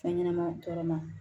Fɛn ɲɛnɛma tɔɔrɔ ma